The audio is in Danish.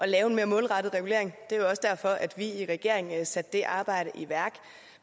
at lave mere målrettet regulering det er jo også derfor at vi i regeringen satte det arbejde i værk